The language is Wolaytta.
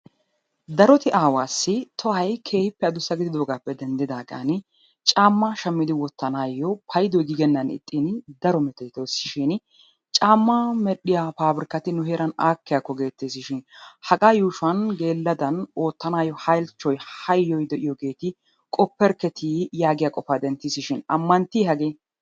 Daroti aawaassi tohoy keehippe adussa gididoogaappe denddidaagan caammaa shammidi wottanaayyo payidoy giigennaagaani daro metootoosushiin" caammaa medhdhiya pabrikkati nu heeran aakkiyakko geetteesishin hagaa yuushuwan geelladan oottanawu halchchoy hayyoy de'iyogeeti qopperkketi" yaagiya qofaa denttiisishin ammanttii hagee?